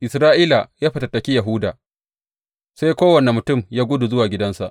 Isra’ila ta fatattaki Yahuda, sai kowane mutum ya gudu zuwa gidansa.